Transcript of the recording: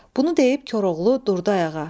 Bunu deyib Koroğlu durdu ayağa.